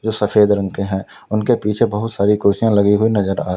सफेद रंग के हैं उनके पीछे बहुत सारी कुर्सियां लगी हुई नजर आ र--